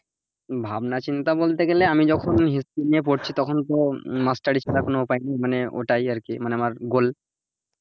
ভাবনাচিন্তা বলতে গেলে আমি যখন history নিয়ে পড়ছি তখন তো মাস্টারি ছাড়া উপায় নেই মানে ওটাই আরকি আমার,